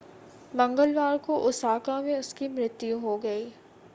मंगलवार को ओसाका में उसकी मृत्यु हो गई